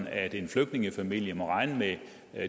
at en flygtningefamilie må regne med